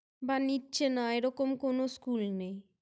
বা নিচ্ছে না এরকম কোনো School নেই।